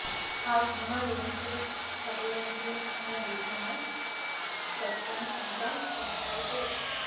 ఆ సినిమా ఏంటీ కథ ఏంటీ అనే విషయమై సస్పెన్స్ గా కొనసాగుతూ వస్తుంది